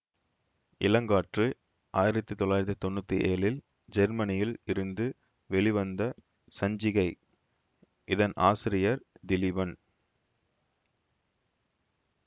இளங்காற்று ஆயிரத்தி தொள்ளாயிரத்தி தொன்னூத்தி ஏழில் ஜெர்மனியில் இருந்து வெளிவந்த சஞ்சிகை இதன் ஆசிரியர் திலீபன்